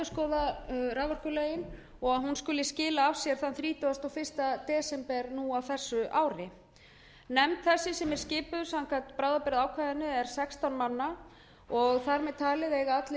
að endurskoða raforkulögin og hún skuli skila af sér þann þrítugasta og fyrsta desember á þessu ári nefnd þessi sem er skipuð samkvæmt bráðabirgðaákvæðinu er sextán manna og þar með talið eiga